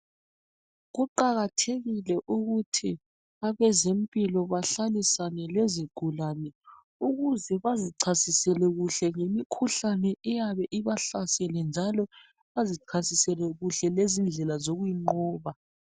Kuqakathekile ukuthi abezempilo bahlalisane lezigulane ukuze bazichasisele kuhle ngemikhuhlane eyabe ibahlasele njalo bazichasise kuhle lendlela zokuyinqoba.